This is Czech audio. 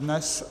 Dnes.